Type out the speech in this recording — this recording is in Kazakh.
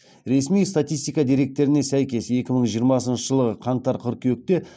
ресми статистика деректеріне сәйкес екі мың жиырмасыншы жылғы қаңтар қыркүйекте